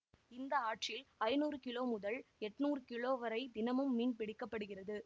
இந்த ஆற்றில் ஐநூறு கிலோ முதல் எட்னுரூ கிலோ வரை தினமும் மீன் பிடிக்கப்படுகிறது